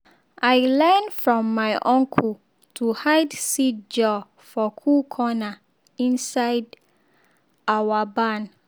i learn from my uncle to hide seed jar for cool corner inside our barn.